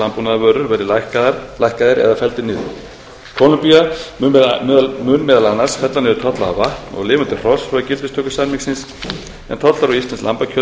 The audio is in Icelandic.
landbúnaðarvörur verði lækkaðir eða felldir niður kólumbía mun meðal annars fella niður tolla á vatn og lifandi hross frá gildistöku samningsins en tollar á íslenskt lambakjöt